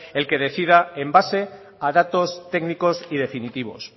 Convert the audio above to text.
el que decida en base a datos técnicos y definitivos